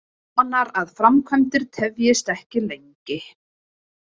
Vonar að framkvæmdir tefjist ekki lengi